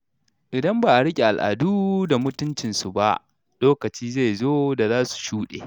Idan ba a riƙe al’adu da mutuncin su ba, lokaci zai zo da za su shuɗe.